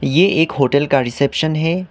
ये एक होटल का रिसेप्शन है।